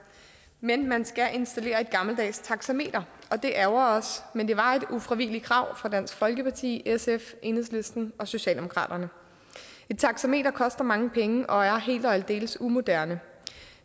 men man skal installere et gammeldags taxameter og det ærgrer os men det var et ufravigeligt krav fra dansk folkeparti sf enhedslisten og socialdemokratiet et taxameter koster mange penge og er helt og aldeles umoderne